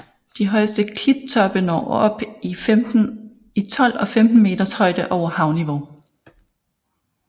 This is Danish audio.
De højeste klittoppe når op i 12 og 15 meters højde over havniveau